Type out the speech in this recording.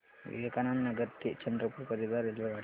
विवेकानंद नगर ते चंद्रपूर करीता रेल्वेगाड्या